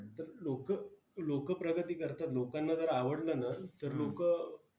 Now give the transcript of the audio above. तर लोकं, लोकं प्रगती करतात लोकांना जर आवडलं ना, तर लोकं.